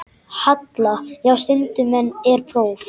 Halla: Já, stundum er próf.